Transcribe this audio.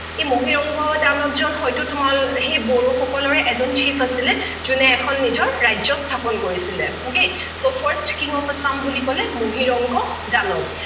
এই মহিৰংগ দানৱজন হৈতো তোমাল সেই বড়োসকলৰ এজন chief আছিলে জোনে এখন নিজৰ ৰাজ্য স্থাপন কৰিছিলে okay so first taking of assam বুলি কলে মহিৰংগ দানৱ